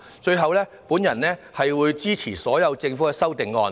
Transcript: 最後，我會支持政府所有的修正案。